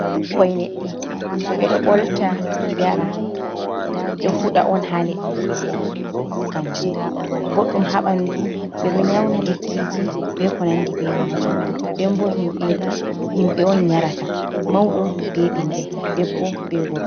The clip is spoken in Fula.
Ɓikkoi leɗɗe ɓeɗo bolta yara, ɗo fuɗa on ha leddi kanjum boɗɗum haɓandu ɓe ɗo nyauna lekkiji be ko nandi be majum dembo himɓe on nyarata mauɗo be bingel, debbo be gorko.